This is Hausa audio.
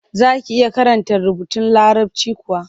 Za ki iya karanta rubutun Larabci kuwa?